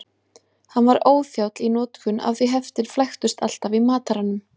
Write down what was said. Hann var óþjáll í notkun af því heftin flæktust alltaf í mataranum.